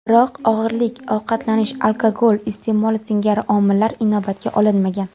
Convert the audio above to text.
Biroq og‘irlik, ovqatlanish, alkogol iste’moli singari omillar inobatga olinmagan.